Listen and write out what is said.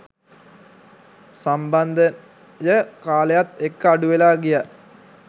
සම්බන්ධය කාලයත් එක්ක අඩුවෙලා ගියා.